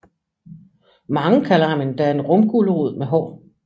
Mange kalder ham endda en rumgulerod med hår